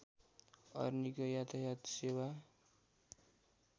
अरनिको यातायात सेवा